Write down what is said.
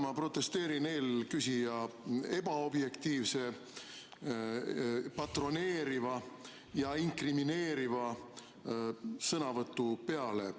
Ma protesteerin eelküsija ebaobjektiivse, patroneeriva ja inkrimineeriva sõnavõtu peale.